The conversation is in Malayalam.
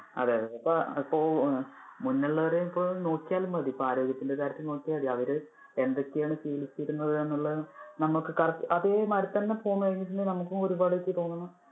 അതെ അതെ. അത് ഇപ്പൊ മുന്നേ ഉള്ളവരെ നോക്കിയാൽ മതി, ഇപ്പൊ ആരോഗ്യത്തിന്‍ടെ കാര്യത്തില് നോക്കിയാൽ മതി അവര് എന്തൊക്കെ ആണ് ശീലിച്ചിരുന്നത് എന്നുള്ളത് നമുക്ക് കറ~ അതെ മാതിരി തന്നെ പോന്നു കഴിഞ്ഞിട്ടുണ്ടെങ്കില്‍ നമുക്കും ഒരുപാട് എനിക്ക് തോനുന്നു.